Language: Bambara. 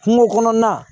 Kungo kɔnɔna